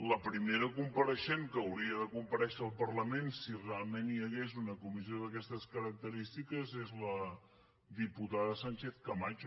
la primera compareixent que hauria de comparèixer al parlament si realment hi hagués una comissió d’aquestes característiques és la diputada sánchez camacho